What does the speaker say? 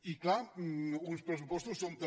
i clar uns pressupostos són també